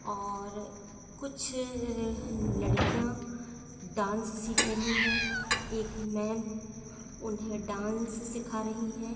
--और कुछ लड़किया डांस सिख रही हैं एक मेम उन्हें डांस सिखा रही है।